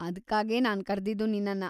ಅದ್ಕಾಗೇ ನಾನ್ ಕರ್ದಿದ್ದು ನಿನ್ನನ್ನ.